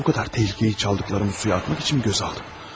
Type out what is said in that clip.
Bu qədər təhlikəni çaldıqlarımı suya atmaq üçünmü gözə aldım?